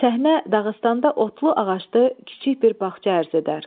Səhnə Dağıstanda otlu ağaclı kiçik bir bağçada arz edər.